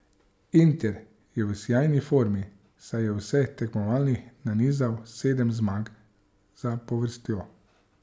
Inter je v sijajni formi, saj je v vseh tekmovanjih nanizal sedem zmag zapovrstjo.